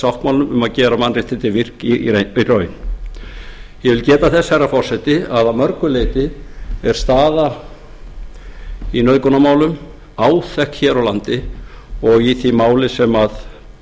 sáttmálanum um að gera mannréttindin virk í raun ég vil geta þess herra forseti að mörgu leyti er staða í nauðgunarmálum áþekk hér á landi og í því máli sem